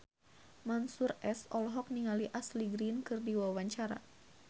Mansyur S olohok ningali Ashley Greene keur diwawancara